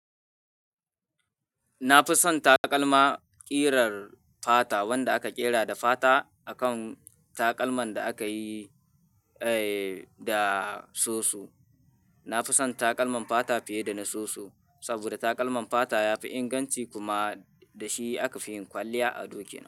Na fi son taƙalma ƙirar fata wanda aka ƙera da fata a kan taƙalman da aka yi, eh, da soso. Na fi son taƙalman fata fiye da na soso saboda taƙalman fata ya fi inganci kuma da shi aka fi yin kwalliya a dokina.